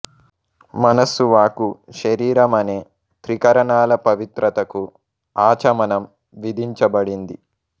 మనస్సు వాక్కు శరీరం అనే త్రికరణాల పవిత్రతకు ఆచమనం విధించబడింది